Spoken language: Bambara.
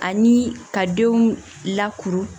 Ani ka denw lakuru